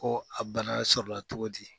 Ko a bana sɔrɔ la cogo di.